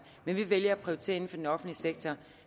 men vi vælger at prioritere inden for den offentlige sektor